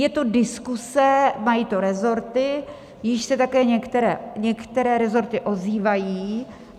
Je to diskuse, mají to resorty, již se také některé resorty ozývají.